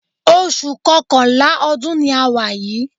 Oṣù Kọkànlá ọdún ni a wà yìí